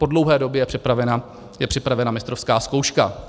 Po dlouhé době je připravena mistrovská zkouška.